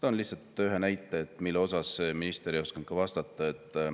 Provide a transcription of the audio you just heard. Toon lihtsalt ühe näite, mille kohta minister ei osanud vastata.